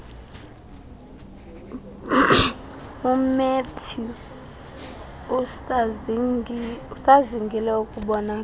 umatthews usazingile ukubonakala